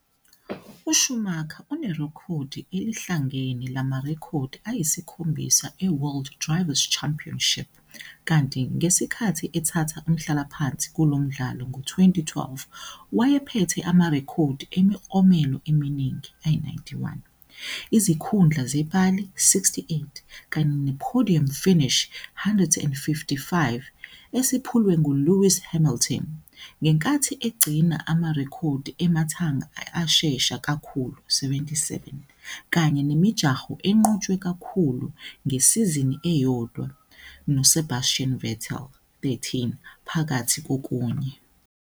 USchumacher unerekhodi elihlangene lamarekhodi ayisikhombisa e-World Drivers 'Championship kanti, ngesikhathi ethatha umhlalaphansi kulo mdlalo ngo-2012, wayephethe amarekhodi emiklomelo eminingi, 91, izikhundla zepali, 68, kanye ne-podium finish, 155, - esephulwe nguLewis Hamilton - ngenkathi egcina amarekhodi emathanga ashesha kakhulu, 77, kanye nemijaho enqotshwe kakhulu ngesizini eyodwa, noSebastian Vettel, 13, phakathi kokunye.